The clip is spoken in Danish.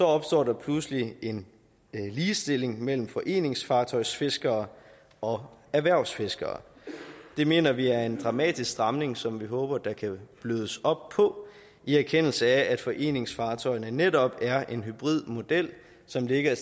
opstår der pludselig en ligestilling mellem foreningsfartøjsfiskere og erhvervsfiskere det mener vi er en dramatisk stramning som vi håber der kan blødes op på i erkendelse af at foreningsfartøjer netop er en hybridmodel som ligger